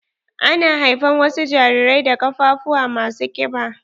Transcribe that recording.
Ana haifan wasu jarirai da ƙafafuwa ma su kiɓa.